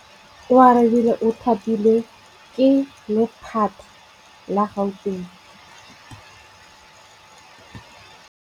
Oarabile o thapilwe ke lephata la Gauteng.